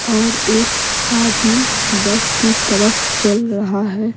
और एक आदमी बस की तरफ चल रहा है।